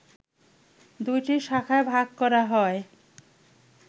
দুইটি শাখায় ভাগ করা হয়